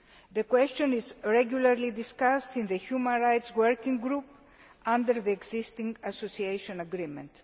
The question is regularly discussed in the human rights working group under the existing association agreement.